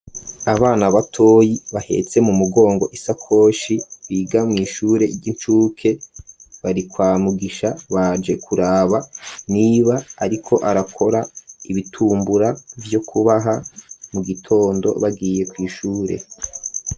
Abana batoyi bahetse mu mugongo isakoshi biga mw'ishure ry'incuke bari kwa mugisha baje kuraba niba, ariko arakora ibitumbura vyo kubaha mu gitondo bagiye kw'ishure.